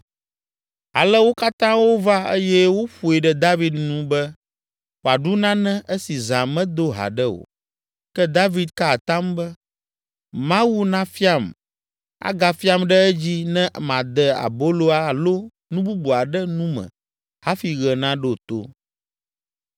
Ale wo katã wova eye woƒoe ɖe David nu be wòaɖu nane esi zã medo haɖe o. Ke David ka atam be, “Mawu nafiam, agafiam ɖe edzi ne made abolo alo nu bubu aɖe nu me hafi ɣe naɖo to!”